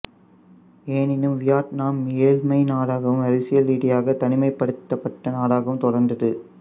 எனினும் வியட்நாம் ஏழ்மை நாடாகவும் அரசியல் ரீதியில் தனிமைப்படுத்தப்பட்ட நாடாகவும் தொடர்ந்தது